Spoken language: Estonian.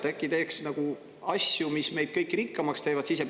Äkki teeks asju, mis meid kõiki rikkamaks teevad?